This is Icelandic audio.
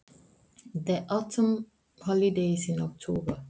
Haustfríið er í október.